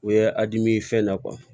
U ye a dimin'i fɛn na